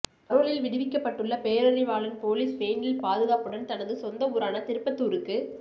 பரோலில் விடுவிக்கப்பட்டுள்ள பேரறிவாளன் போலீஸ் வேனில் பாதுகாப்புடன் தனது சொந்த ஊரான திருப்பத்தூருக்கு